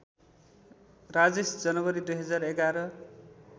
राजेश जनवरी २०११